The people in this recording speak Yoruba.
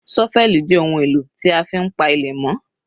ṣọ́fẹ́lì jẹ́ ohun èlò tí a fi ń pa ilẹ̀ mọ́